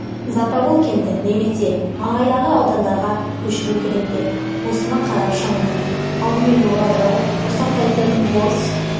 затобол кенті немесе маңайдағы аудандарға көшіру керек пе осыны қарап шығыңыздар алдымен мұражай жасақтайтын бос